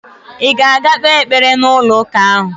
Ị ga-aga kpee ekpere n'ụlọụka ahụ?